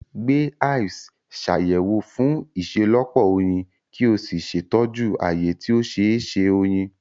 Gbe hives, Ṣàyẹ̀wò fún ìṣelọ́pọ̀ oyin, kí o sì ṣètọ́jú ààyè tí ó ṣeé ṣe oyin.